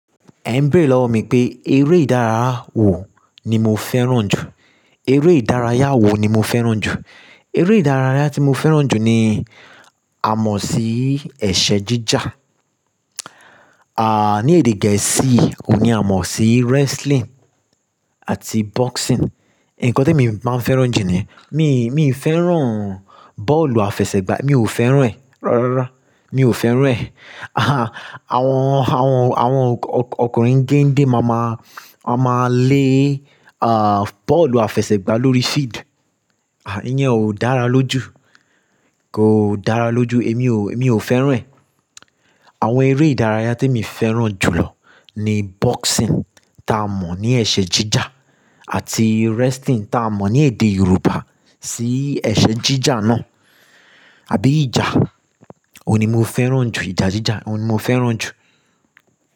Ẹ ń bẹ̀rẹ̀ lọ́wọ mí pé, eré ìdárayá wo ni mo fẹ́ràn jù? Eré ìdárayá wo ni mo fẹ́ràn jù? Eré ìdárayá tí mo fẹ́ràn jù ni a mọ̀ sí ẹ̀ṣẹ̀ jíjà. Ni èdè gẹ̀ẹ́sì ó ní a mọ̀ sí wrestling àti boxing. Ǹkan tí mi máa fẹ́ràn jù ni, mi ì fẹ́ràn bọ́ọ̀lù àfẹsẹ̀gbá, mi ò fẹ́ràn ẹ́. Rárá, mi ò fẹ́ràn ẹ́. Àwọn ọkùnrin gende máamáa lé, bọ́ọ̀lù àfẹsẹ̀gbá lórí field. Ìyẹn ò dára lójú, èmi ò fẹ́ràn ẹ́. Àwọn eré ìdárayá tí mi fẹ́ràn jù lọ ni boxing tá a mọ̀ ní ẹ̀ṣẹ̀ jíjà àti wrestling tá a mọ̀ ní èdè Yorùbá sí ẹ̀ṣẹ̀ jíjà náà. Àbí ìjà, òun ni mo fẹ́ràn jù, ìjà jíjà, òun ni mo fẹ́ràn jù.